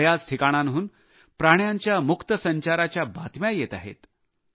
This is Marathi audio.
बऱ्याच ठिकाणांवरून प्राण्यांच्या मुक्त संचारच्या बातम्या येत आहेत